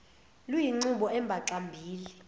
luyinqubo embaxa mbili